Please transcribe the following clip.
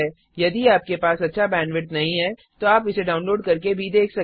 यदि आपके पास अच्छा बैंडविड्थ नहीं है तो आप इसे डाउनलोड करके देख सकते हैं